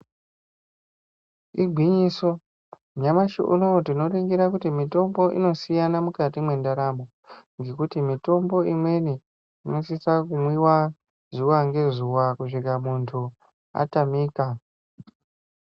Igwinyiso nyamushi unou tinoringira kuti mitombo inosiyana mukati mwendaramo ngekuti mitombo imweni inosisa kumwiwa zuwa ngezuwa kusvika muntu atamika.